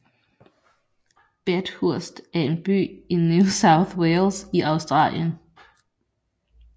Bathurst er en by i New South Wales i Australien